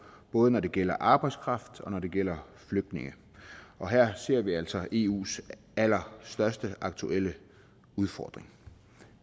både når det gælder arbejdskraft og når det gælder flygtninge og her ser vi altså eus allerstørste aktuelle udfordring